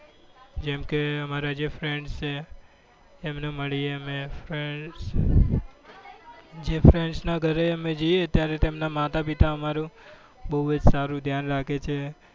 જેમ કે અમારા જે friend છે એમને મળીએ અમે જે friends ના ઘરે અમે જઈએ અમે ત્યારે તેમના માતા પિતા બહુ જ સારું ધ્યાન રાખે છે.